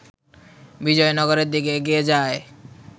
বিজয়নগরের দিকে এগিয়ে যায়